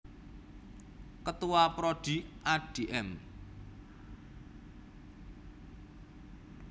Ketua Prodi Adm